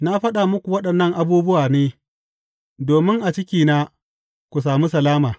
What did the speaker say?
Na faɗa muku waɗannan abubuwa ne, domin a cikina ku sami salama.